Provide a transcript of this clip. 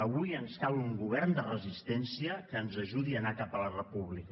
avui ens cal un govern de resistència que ens ajudi a anar cap a la república